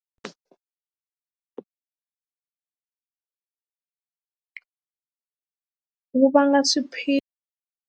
Wu vanga .